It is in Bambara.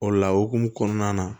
O la okumu kɔnɔna na